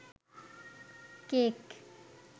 cake